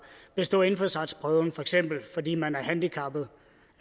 bestået indfødsretsprøven for eksempel fordi man er handicappet